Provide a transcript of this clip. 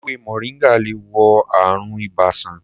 Èwe moringa lè wo àrùn ibà sàn.